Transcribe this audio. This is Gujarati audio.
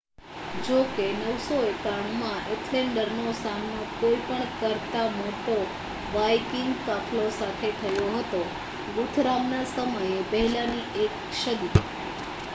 જો કે 991 માં એથેલ્ડરનો સામનો કોઈ પણ કરતા મોટો વાઇકિંગ કાફલો સાથે થયો હતો, ગુથરામના સમય પહેલાની એક સદી